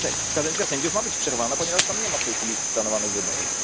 Kadencja sędziów ma być przerwana, ponieważ tam nie ma w tej chwili planowanych wyborów.